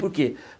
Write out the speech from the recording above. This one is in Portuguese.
Por quê?